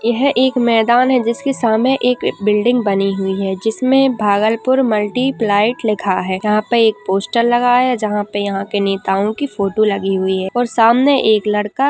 यह एक मैदान है। जिसके सामने एक बिल्डिंग बनी हुई है। जिसमें भागलपुर मल्टीप्लाइड लिखा है। यहाँ पे एक पोस्टर लगा है जहाँ पे यहाँ के नेताओं की फोटो लगी हुई है और सामने एक लड़का --